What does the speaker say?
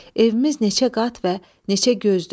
Evimiz neçə qat və neçə gözdür?